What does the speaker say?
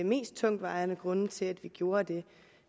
mest tungtvejende grunde til at vi gjorde det